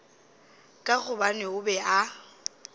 ka gobane o be a